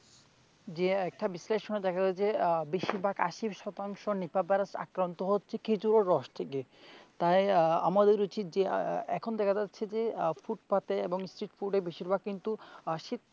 যে একটা বিশ্লেষনে দেখা যাচ্ছে আহ যে বেশিরভাগ আশি শতাংশ নিপা ভাইরাস আক্রান্ত হচ্ছে খেজুরের রস থেকে, তাই আহ আমাদের উচিত যে আহ এখন দেখা যাচ্ছে যে আহ ফুটপাতে বা street foot এ বেশিরভাগ কিন্তু,